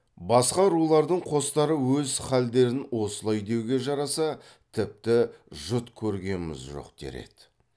басқа рулардың қостары өз халдерін осылай деуге жараса тіпті жұт көргеміз жоқ дер еді